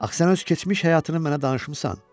Axı sən öz keçmiş həyatını mənə danışmısan.